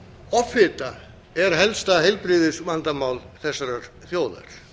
offita er helsta heilbrigðisvandamál þessarar þjóðar